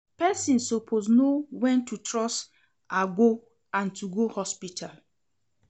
Pesin suppose know wen to trust agbo and to go hospital.